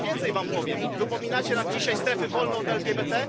Ja więcej wam powiem wypominacie nam dzisiaj strefy wolne od LGBT.